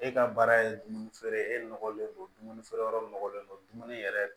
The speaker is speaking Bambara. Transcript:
E ka baara ye dumuni feere e nɔgɔlen don dumuni feere yɔrɔ nɔgɔlen don dumuni yɛrɛ